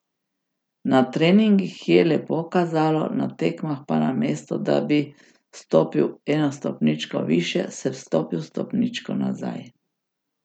Na treningih je lepo kazalo, na tekmah pa namesto da bi stopil eno stopničko višje, sem stopil stopničko nazaj.